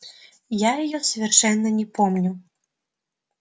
я её совершенно не помню